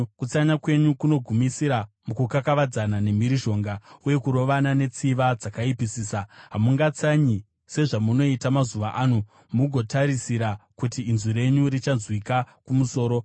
Kutsanya kwenyu kunogumisira mukukakavadzana nemhirizhonga, uye kurovana netsiva dzakaipisisa. Hamungatsanyi sezvamunoita mazuva ano, mugotarisira kuti inzwi renyu richanzwika kumusoro.